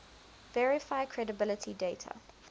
verify credibility dater